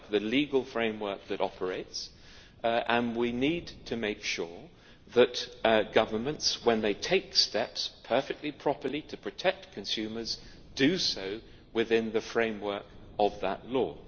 legal framework that operates and we need to make sure that governments, when they take steps perfectly properly to protect consumers do so within the framework of that law.